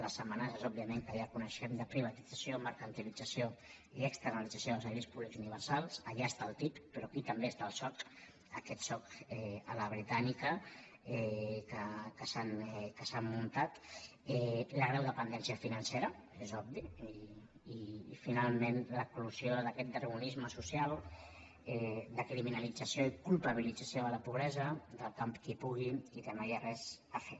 les amenaces òbviament que ja coneixem de privatització mercantilització i externalització dels serveis públics universals allà està el ttip però aquí també està el soc aquest soc a la britànica que s’han muntat la greu dependència financera és obvi i finalment l’eclosió d’aquest darwinisme social de criminalització i culpabilització de la pobresa del campi qui pugui i de no hi ha res a fer